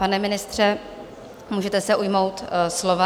Pane ministře, můžete se ujmout slova.